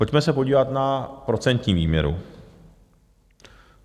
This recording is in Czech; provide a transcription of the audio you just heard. Pojďme se podívat na procentní výměru.